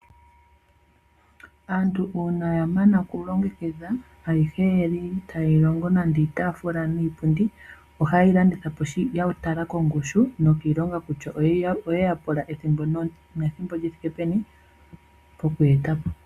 Aantu uuna ya mana oku longekidha ayihe yali taya longo nande iitaafula niipundi ohaye yi landitha po ya tala kongushu nokiilonga kutya oyeya pula ethimbo li thike peni okuyi eta po.